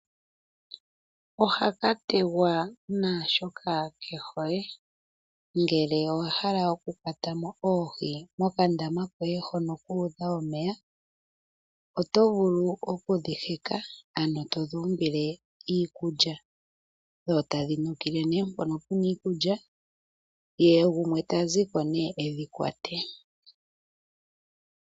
Ohaka tegwa naashoka ke hole ngele owa hala okukwatamo oohi mokandama koye hono kuudha omeya oto vulu okudhi heka ano to dhi umbile iikulya dho tadhi nukile neempono pu na iikulya ye gumwe ta ziko ne edhikwate.